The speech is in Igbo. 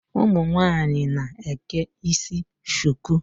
Ụmụ nwaanyị na-eke isi shuku.